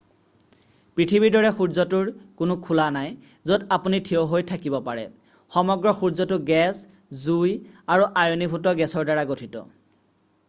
পৃথিৱীৰ দৰে সূৰ্যটোৰ কোনো খোলা নাই য'ত আপুনি থিয় হৈ থাকিব পাৰে সমগ্ৰ সূৰ্যটো গেছ জুই আৰু আয়নীভূত গেছৰ দ্বাৰা গঠিত